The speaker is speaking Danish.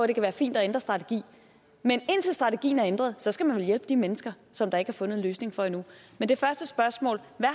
det kan være fint at ændre strategi men indtil strategien er ændret skal man vel hjælpe de mennesker som der ikke er fundet en løsning for endnu men det første spørgsmål hvad